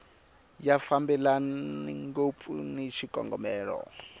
ya fambelani ngopfu ni xikongomelo